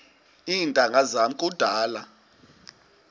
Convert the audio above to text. iintanga zam kudala